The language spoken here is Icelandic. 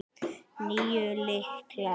Níu lyklar.